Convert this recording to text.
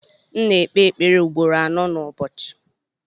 M na ekpe ekpere ugboro anọ nu ụbọchị.